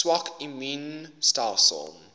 swak immuun stelsels